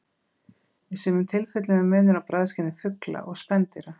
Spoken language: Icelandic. Í sumum tilfellum er munur á bragðskyni fugla og spendýra.